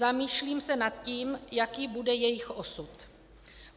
Zamýšlím se nad tím, jaký bude jejich osud.